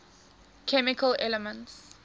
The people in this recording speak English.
chemical elements